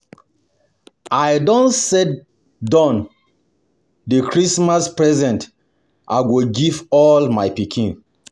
I don set don set the Christmas presents I go give all my pikin